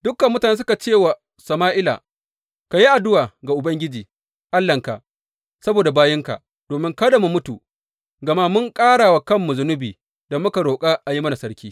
Dukan mutane suka ce wa Sama’ila, Ka yi addu’a ga Ubangiji Allahnka saboda bayinka, domin kada mu mutu, gama mun ƙara wa kanmu zunubi da muka roƙa a yi mana sarki.